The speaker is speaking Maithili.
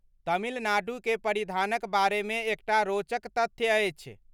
तमिल नाडुके परिधानक बारेमे एकटा रोचक तथ्य अछि।